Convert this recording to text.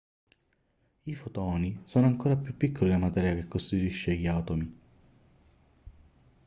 i fotoni sono ancora più piccoli della materia che costituisce gli atomi